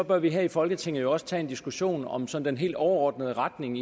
bør vi her i folketinget jo også tage en diskussion om sådan den helt overordnede retning